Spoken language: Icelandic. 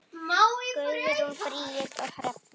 Guðrún Bríet og Hrefna.